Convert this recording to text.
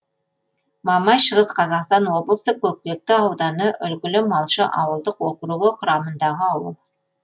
мамай шығыс қазақстан облысы көкпекті ауданы үлгілі малшы ауылдық округі құрамындағы ауыл